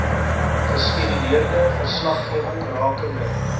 geskeduleerde verslaggewing rakende